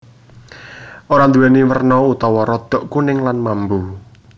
Ora nduwèni werna utawa rodok kuning lan mambu